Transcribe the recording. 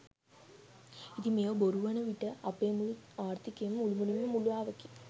ඉතින් මේවා බොරු වන විට අපේ මුළු ආර්ථීකයම මුළුමනින්ම මුලාවකි.